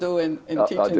og inn